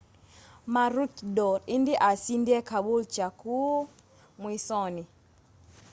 maroochydore indi asindie caboolture kuu mwisoni